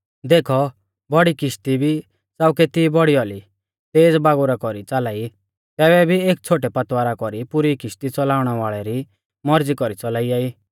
देखौ बौड़ी किश्ती भी च़ाऊ केती बौड़ी औली तेज़ बागुरा कौरी च़ाला ई तैबै भी एक छ़ोटै पतवारा कौरी पुरी किश्ती च़लाउणै वाल़ै री मौरज़ी कौरी च़लाइया ई